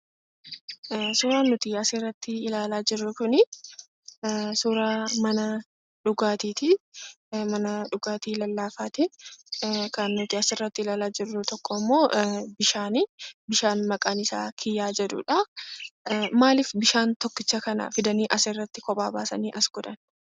Suuraan nuti asirratti ilaalaa jirru kunii, suuraa mana dhugaatiiti. Mana dhugaatii lallaafaati. Kan nuti asirratti ilaalaa jirru tokkommoo bishaani. Bishaan maqaan isaa kiyyaa jedhudha. Maaliif bishaan tokkicha kana fidanii asirratti kophaa baasanii as godhan?